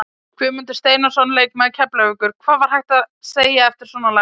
Guðmundur Steinarsson leikmaður Keflavíkur: Hvað er hægt að segja eftir svona lagað?